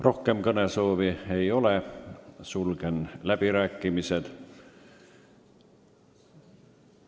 Rohkem kõnesoove ei ole, sulgen läbirääkimised.